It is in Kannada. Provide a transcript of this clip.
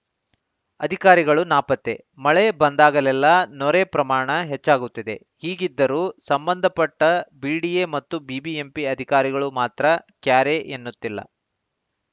ಅಧಿಕಾರಿಗಳು ನಾಪತ್ತೆ ಮಳೆ ಬಂದಾಗಲೆಲ್ಲಾ ನೊರೆ ಪ್ರಮಾಣ ಹೆಚ್ಚಾಗುತ್ತಿದೆ ಹೀಗಿದ್ದರೂ ಸಂಬಂಧಪಟ್ಟ ಬಿಡಿಎ ಮತ್ತು ಬಿಬಿಎಂಪಿ ಅಧಿಕಾರಿಗಳು ಮಾತ್ರ ಕ್ಯಾರೆ ಎನ್ನುತ್ತಿಲ್ಲ